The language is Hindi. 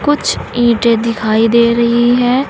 कुछ ईंटे दिखाई दे रही है।